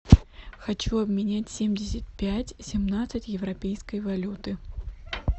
хочу обменять семьдесят пять семнадцать европейской валюты